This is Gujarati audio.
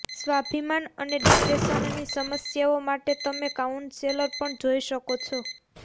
સ્વાભિમાન અને ડિપ્રેશનની સમસ્યાઓ માટે તમે કાઉન્સેલર પણ જોઈ શકો છો